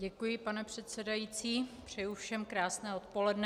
Děkuji, pane předsedající, přeji všem krásné odpoledne.